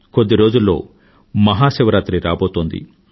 కొద్ది రోజుల్లో మహాశివరాత్రి రాబోతోంది